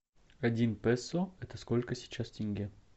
один песо это сколько сейчас тенге